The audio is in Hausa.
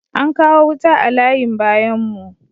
Ankawo wuta a layin bayan mu